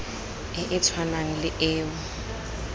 e e tshwanang le eo